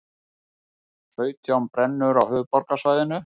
Sautján brennur á höfuðborgarsvæðinu